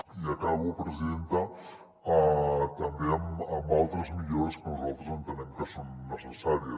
i acabo presidenta també amb altres millores que nosaltres entenem que són necessàries